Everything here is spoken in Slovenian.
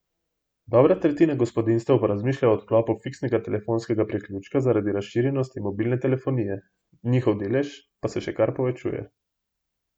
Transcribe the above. Dobra tretjina gospodinjstev pa razmišlja o odklopu fiksnega telefonskega priključka zaradi razširjenosti mobilne telefonije, njihov delež pa se še kar povečuje.